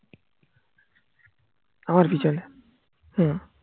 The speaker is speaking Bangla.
আমার পিছনে হম